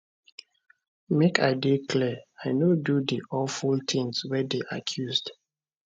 make i dey clear i no do di awful tins wey dey accused